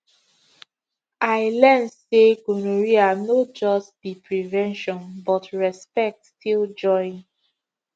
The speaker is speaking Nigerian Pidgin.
i learn say gonorrhea no just be prevention but respect still join